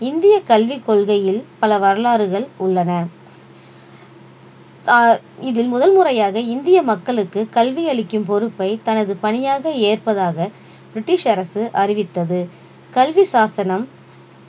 இந்திய கல்விக் கொள்கையில் பல வரலாறுகள் உள்ளன ஆஹ் இதில் முதல் முறையாக இந்திய மக்களுக்கு கல்வி அளிக்கும் பொறுப்பை தனது பணியாக ஏற்பதாக british அரசு அறிவித்தது கல்வி சாசனம்